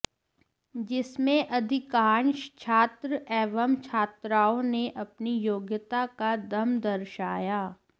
जिसमें अधिकांश छात्र एवं छात्राओं ने अपनी योग्यता का दम दर्शाया